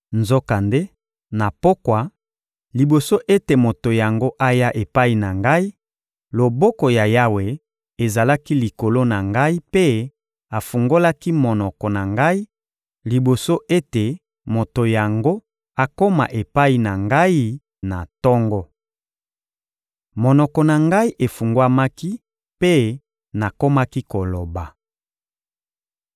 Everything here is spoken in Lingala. Nzokande, na pokwa, liboso ete moto yango aya epai na ngai, loboko ya Yawe ezalaki likolo na ngai mpe afungolaki monoko na ngai liboso ete moto yango akoma epai na ngai na tongo. Monoko na ngai efungwamaki mpe nakomaki koloba.